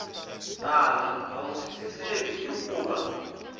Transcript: tala a wu twisiseki hikuva